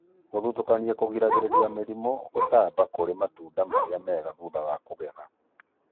Gũthutũkania kũgiragĩrĩria mĩrimũ gũtamba kũrĩ matunda marĩa mega thutha wa kũgetha